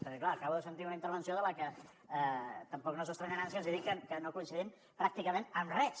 perquè clar acabo de sentir una intervenció amb la que tampoc no s’estranyaran si els dic que no coincidim pràcticament en res